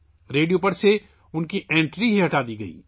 radio پر ان کی انٹری ہٹا دی گئی